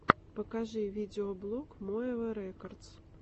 покажи видеоблог моэва рекодс